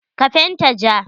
Ka fenta ja.